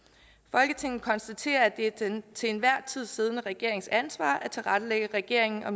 folketinget konstaterer at det er den til enhver tid siddende regerings ansvar at tilrettelægge regeringens og